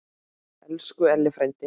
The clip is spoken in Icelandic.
Elsku Elli frændi.